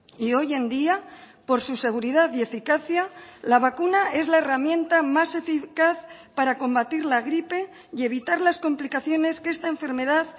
y hoy en día por su seguridad y eficacia la vacuna es la herramienta más eficaz para combatir la gripe y evitar las complicaciones que esta enfermedad